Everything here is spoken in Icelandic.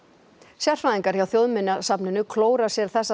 sérfræðingar hjá Þjóðminjasafninu klóra sér þessa